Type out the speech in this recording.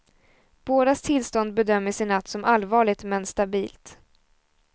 Bådas tillstånd bedömdes i natt som allvarligt men stabilt.